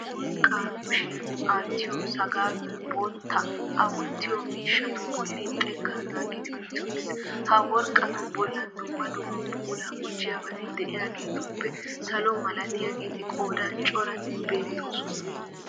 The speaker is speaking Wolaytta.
Worqqa kushiyan aattiyo sagaayoy bootta a wottiyo miishshatu bolli xekkaa naagidi utti uttiis. Ja worqqatu bollan dumma dumma puilaa gujjoyabati de'iyageetuppe salo malatiyageeti qoodan coratti beettoosona